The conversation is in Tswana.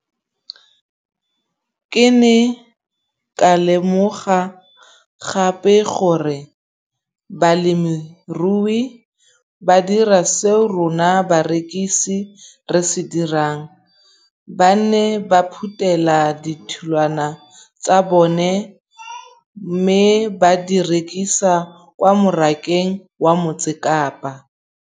Ke ne ka lemoga gape gore balemirui ba dira seo rona barekisi re se dirang - ba ne ba phuthela ditholwana tsa bona mme ba di rekisa kwa marakeng wa Motsekapa.